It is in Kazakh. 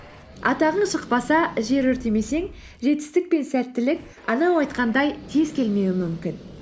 атағың шықпаса жер өртемесең жетістік пен сәттілік анау айтқандай тез келмеуі мүмкін